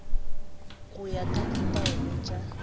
go ya ka ditaelo tša